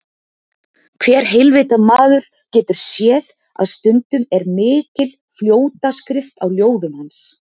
Hver heilvita maður getur séð að stundum er mikil fljótaskrift á ljóðum hans.